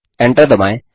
Enter दबाएँ